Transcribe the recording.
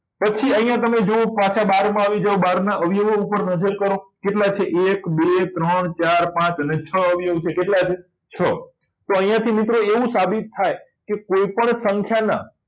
પછી અહીંયા તમે જુઓ પાછા બાર માં આવી જાઓ બાર ના અવયવ ઉપર નજર કરો કેટલા છે એક બે ત્રણ ચાર પાચ અને છ અવયવ છે કેટલા છે છ તો અહીંયાથી મિત્રો એવું સાબિત થાય કે કોઈપણ સંખ્યાના